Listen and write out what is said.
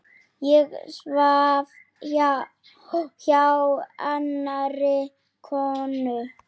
Ég svaf hjá annarri konu.